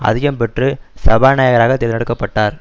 அதிகம் பெற்று சபாநாயகராக தேர்ந்தெடுக்க பட்டார்